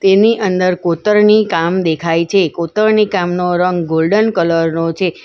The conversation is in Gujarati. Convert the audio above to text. એની અંદર કોતરણી કામ દેખાય છે કોતરણી કામનો રંગ ગોલ્ડન કલર નો છે.